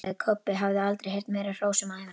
Kobbi hafði aldrei heyrt meira hrós um ævina.